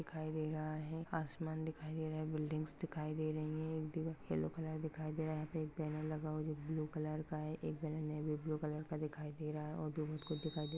दिखाई दे रहा हैं। आसमान दिखाई दे रहा है बिल्डिंग्स दिखाई दे रहा है ब्लू कलर नेविब्लु कलर का दिखाई दे रहा है और